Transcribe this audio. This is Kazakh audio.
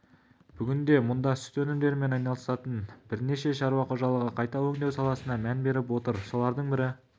бүгінде мұнда сүт өндірумен айналысатын бірнеше шаруа қожалығы қайта өңдеу саласына мән беріп отыр солардың бірі